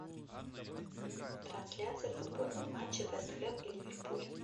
трансляция футбольного матча вест хэм и ливерпуль